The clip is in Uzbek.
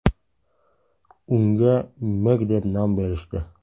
Unga Meg deb nom berishdi.